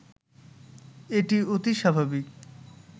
এটি অতি স্বাভাবিক